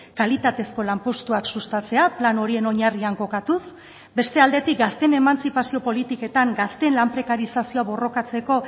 kalitatezko lanpostuak sustatzea plan horien oinarrian kokatuz beste aldetik gazteen emantzipazio politiketan gazteen lan prekarizazioa borrokatzeko